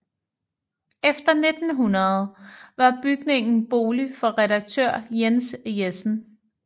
Efter 1900 var bygningen bolig for redaktør Jens Jessen